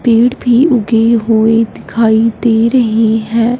पेड़ भी उगे हुए दिखाई दे रहे हैं।